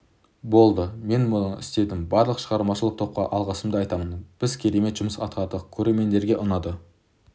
болды мен мұны істедім барлық шығармашылық топқа алғысымды айтамын біз керемет жұмыс атқардық көрермендерге ұнайды